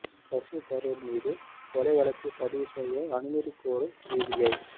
சசி தரூர் மீது கொலை வழக்குப் பதிவு செய்ய அனுமதி கோரும் சிபிஐ